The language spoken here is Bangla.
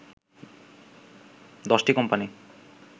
১০ টি কোম্পানি